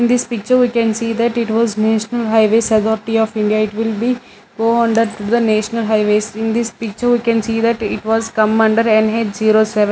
in this picture we can see that it was national highways authority of india it will be O under to the national highways in this picture we can see that it was come under N_H zero seven.